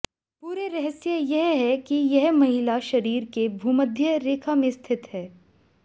पूरे रहस्य यह है कि यह महिला शरीर के भूमध्य रेखा में स्थित है